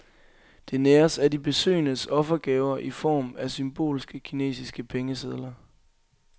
Det næres af de besøgendes offergaver i form af symbolske kinesiske pengesedler.